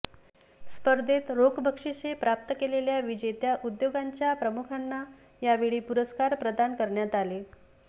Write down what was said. स्पर्धेत रोख बक्षीसे प्राप्त केलेल्या विजेत्या उद्योगांच्या प्रमुखांना यावेळी पुरस्कार प्रदान करण्यात आले